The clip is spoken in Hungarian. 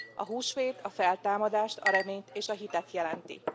A húsvét, a feltámadást, a reményt és a hitet jelenti.